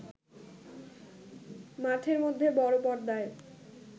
মাঠের মধ্যে বড় পর্দায়